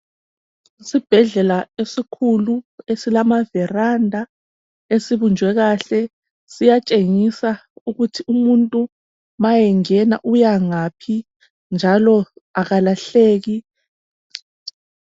Isibhedlela esikhulu esilamaviranda esibunjwe kahle siyatshengisa ukuthi umuntu nxa engena uyangaphi njalo akalahleki.